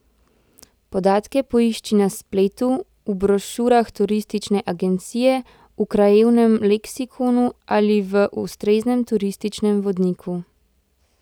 Podatke poišči na spletu, v brošurah turistične agencije, v krajevnem leksikonu ali v ustreznem turističnem vodniku.